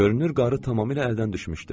Görünür qarı tamamilə əldən düşmüşdü.